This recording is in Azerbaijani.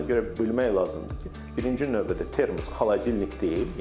Ona görə bilmək lazımdır ki, birinci növbədə termos xaladelnik deyil.